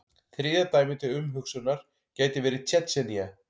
Þriðja dæmið til umhugsunar gæti verið Tsjetsjenía.